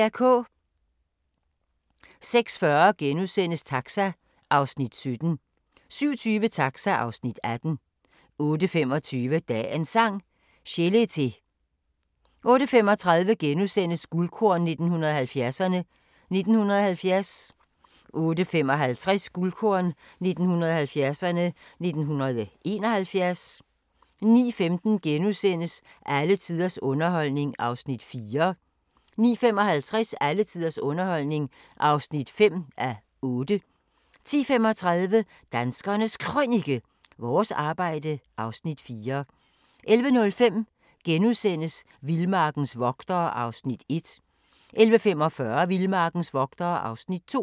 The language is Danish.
06:40: Taxa (Afs. 17)* 07:20: Taxa (Afs. 18) 08:25: Dagens Sang: Chelete 08:35: Guldkorn 1970'erne: 1970 * 08:55: Guldkorn 1970'erne: 1971 09:15: Alle tiders underholdning (4:8)* 09:55: Alle tiders underholdning (5:8) 10:35: Danskernes Krønike - vores arbejde (Afs. 4) 11:05: Vildmarkens vogtere (Afs. 1)* 11:45: Vildmarkens vogtere (Afs. 2)